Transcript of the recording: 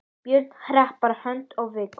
Börn: Harpa Hödd og Viggó.